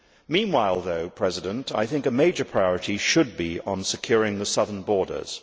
Meanwhile, though, I think a major priority should be securing the southern borders.